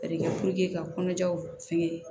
ka kɔnɔjaw fɛngɛ